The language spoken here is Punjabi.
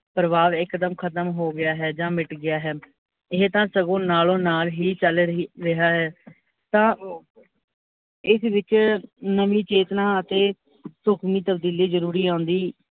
ਭਰਵਾਵ ਇੱਕ ਦਮ ਖਤਮ ਹੋ ਗਿਆ ਹੈ, ਜਾ ਮਿਟ ਗਿਆ ਹੈ, ਇਹ ਤਾਂ ਸਗੋਂ ਨਾਲੋਂ ਨਾਲ ਹੀ ਚੱਲ ਰਹੀ ਰਿਹਾ ਹੈ, ਤਾਂ ਇਸ ਵਿੱਚ ਨਵੀਂ ਚੇਤਨਾ ਅਤੇ ਢੂਕਮੀ ਤਬਦੀਲੀ ਜਰੂਰੀ ਆਉਂਦੀ